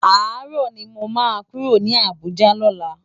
Àárò ni mó má kúró ni Abuja lòlá